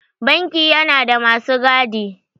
Banki yana da masu gadi.